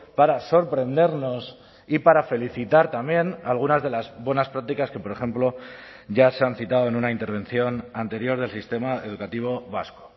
para sorprendernos y para felicitar también algunas de las buenas prácticas que por ejemplo ya se han citado en una intervención anterior del sistema educativo vasco